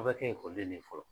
A bɛ kɛ ekɔliden ne ye fɔlɔ.